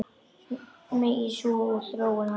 Megi sú þróun halda áfram.